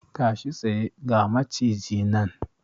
Tashi tsaye! ga Maciji nan!